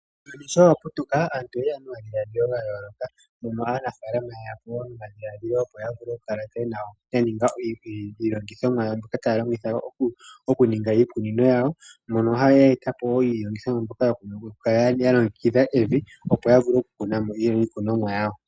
Uuyuni showaputuka aantu oyeya nomadhilaadhilo gayooloka mono aanafalama yeyapo nomadhiladhilo opo yavule okukala yaninge iilongithomwa mbyoka tayalongitha okuninga iikunino yawo, mono ya etapo iilongithomwa mbyoka yokulongekidha evi opo yavule okukunamo iikunomwa yawo.